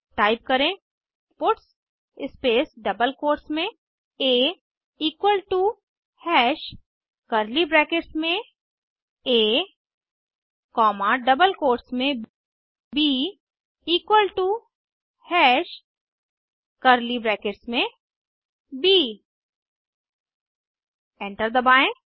type करें puts space double quotes में आ equal to hash curly brackets में आ कॉमा डबल कोट्स में ब equal to hash curly brackets में ब एंटर दबाएं